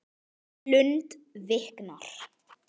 Lund viknar.